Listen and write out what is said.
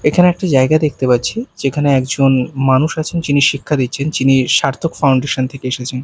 এখানে একটা জায়গা দেখতে পাচ্ছি যেখানে একজন মানুষ আছেন যিনি শিক্ষা দিচ্ছেন যিনি সার্থক ফাউন্ডেশন থেকে এসেছেন।